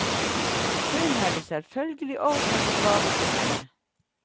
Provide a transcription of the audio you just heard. Hun hadde selvfølgelig ordnet med gave til henne.